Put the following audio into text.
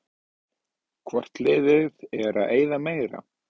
Hvort liðið er að eyða meira?